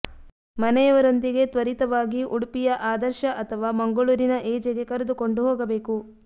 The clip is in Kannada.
ಮನೆಯವರೊಂದಿಗೆ ತ್ವರಿತವಾಗಿ ಉಡುಪಿಯ ಆದರ್ಶ ಅಥವಾ ಮಂಗಳೂರಿನ ಎಜೆಗೆ ಕರೆದುಕೊಂಡು ಹೋಗಬೇಕು